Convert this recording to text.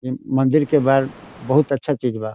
इ मंदिर के बाहर बहुत अच्छा चीज बा।